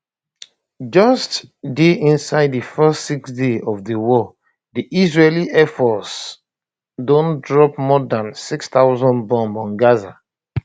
just inside di first six days of di war di israeli air force don drop more dan 6000 bombs on gaza